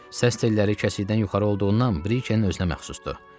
Səs telləri kəsikdən yuxarı olduğundan Brikenin özünə məxsusdur.